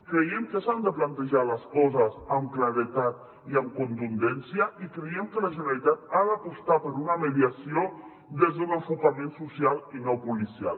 creiem que s’han de plantejar les coses amb claredat i amb contundència i creiem que la generalitat ha d’apostar per una mediació des d’un enfocament social i no policial